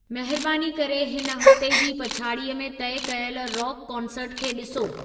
महिरबानी करे हिन हफ़्ते जी पछाड़ीअ में तय कयल रॉक कॉन्सर्ट खे ॾिसो